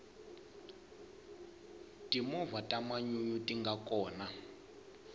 timovha ta manyunyu tinga kona